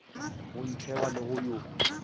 go ntsheba le go yo